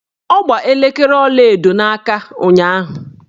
Ọ gba elekere ọlaedo n'aka ụnyaahụ.